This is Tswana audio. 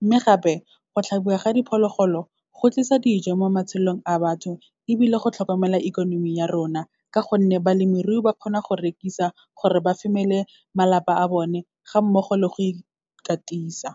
Mme gape, go tlhabiwa ga diphologolo, go tlisa dijo mo matshelong a batho, ebile go tlhokomela ikonomi ya rona, ka gonne balemirui ba kgona go rekisa gore ba femele malapa a bone, ga mmogo le go ikatisa.